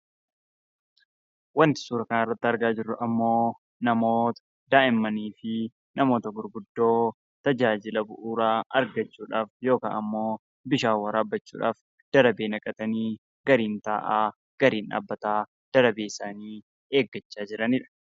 Wanti suuraa kanarratti argaa jirru kun ammoo namoota daa'immanii fi namoota gurguddoo tajaajila bu'uuraa argachuudhaaf yookaan ammoo bishaan waraabbachuudhaaf darabee naqatanii gariin taa'aa gariin dhaabbataa darabee isaanii eeggataa jiranidha.